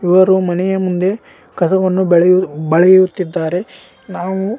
ಇವರು ಮನೆಯ ಮುಂದೆ ಕಸವನ್ನು ಬಳೆ ಬಳೆಯುತ್ತಿದ್ದಾರೆ ನಾವು--